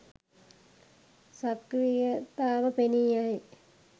සක්‍රීයතාව පෙනී යයි